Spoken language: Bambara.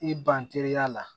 I ban teliya la